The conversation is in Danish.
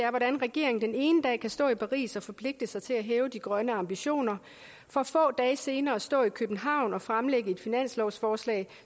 regeringen den ene dag kan stå i paris og forpligte sig til at hæve de grønne ambitioner for få dage senere at stå i københavn og fremlægge et finanslovsforslag